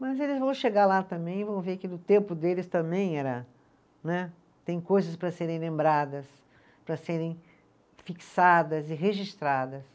Mas eles vão chegar lá também e vão ver que no tempo deles também era, né, tem coisas para serem lembradas, para serem fixadas e registradas.